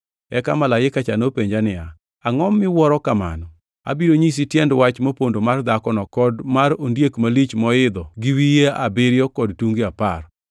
Eka malaika cha nopenja niya, “Angʼo miwuoro kamano? Abiro nyisi tiend wach mopondo mar dhakono kod mar ondiek malich moidho gi wiye abiriyo kod tunge apar.